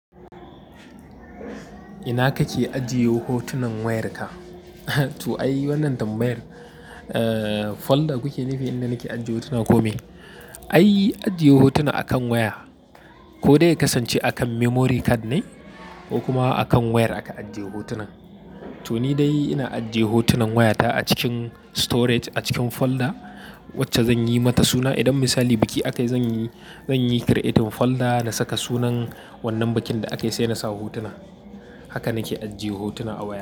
Ina kake ajiye hotunan wayarka? To ai, wannan tambayar. Folder kuke nufi inda nake ajiye hotuna ko me? Ai, ajiye hotuna akan waya. Ko dai ya kasance akan memory card ne ko kuma akan wayar aka ajiye hotunan. To ni dai ina ajiye hotunan wayata a cikin storage a cikin folder wacce zanyi mata suna. Idan misali biki aka yi, zanyi create folder na saka sunan wannan bikin da aka yi sai na sa hotuna. Haka nake ajiye hotuna.